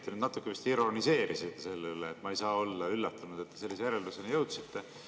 Te natukene vist ironiseerisite selle üle, kui te ütlesite: "No ma ei saa ju ometi olla üllatunud, et te sellisele järeldusele jõudsite.